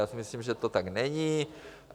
Já si myslím, že to tak není.